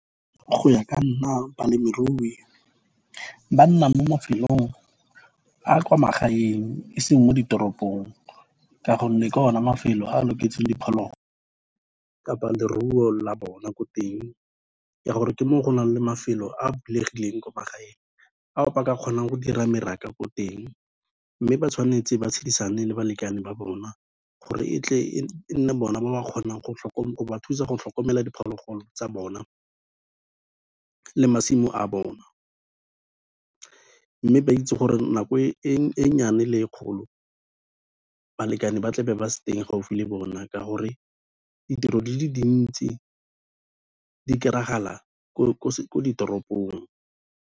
Go ya ka nna balemirui ba nna mo mafelong a kwa magaeng e seng mo ditoropong ka gonne, ke o na mafelo a loketseng diphologolo kapa leruo la bona ko teng ya gore, ke mo go na leng mafelo a bulegileng ko magaeng ao ba ka kgonang go dira mmaraka ko teng, mme ba tshwanetse ba tshedisane le balekane ba bona gore e tle e nne bona ba kgonang go ba thusa go tlhokomela diphologolo tsa bona le masimo a bona mme ba itse gore nako e nnyane le e kgolo, balekane ba tlabe ba se teng gaufi le bona ka gore ditiro di le dintsi di kry-a ga la ko ditoropong.